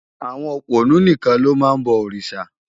Awòn ópónù nikán ló má n bò órisá